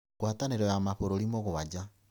Ngwatanĩro ya mabũrũri mũgwanja: